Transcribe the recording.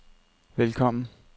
velkommen